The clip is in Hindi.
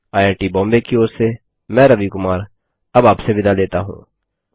आईआईटी बॉम्बे की ओर से मैं रवि कुमार अब आपसे विदा लेता हूँ